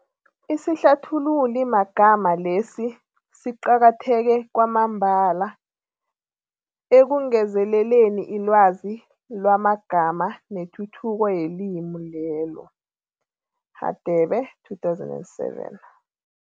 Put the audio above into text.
Isihlathululimagama lesi siqakatheke kwamambala ekungezeleleni ilwazi lamagama nethuthuko yelimi lelo, Hadebe 2007.